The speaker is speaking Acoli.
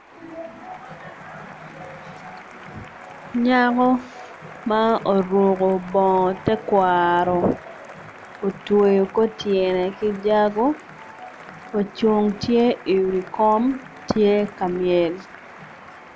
Nyako ma oruko bongo tekwaro otweo kor tyene ki jago ocung tye i wi kom tye ka myel.